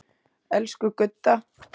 Elsku Gudda.